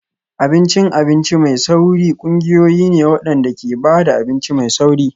Abincin abinci mai sauri ƙungiyoyi ne waɗanda ke ba da abinci mai sauri.